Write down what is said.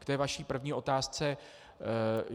K té vaší první otázce.